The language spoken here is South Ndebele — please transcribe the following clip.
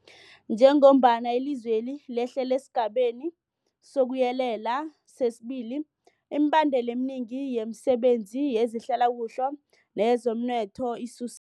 Njengombana ilizwe lehlela esiGabeni sokuYelela sesi-2, imibandela eminengi yemisebenzi yezehlalakuhle neyezomnotho isus